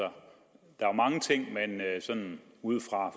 der er mange ting man sådan ud fra